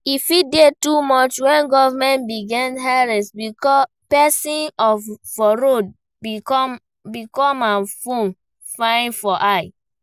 E fit dey too much when government begin harass person for road because im phone fine for eye